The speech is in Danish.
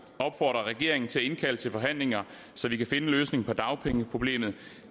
opfordre regeringen til at indkalde til forhandlinger så vi kan finde en løsning på dagpengeproblemet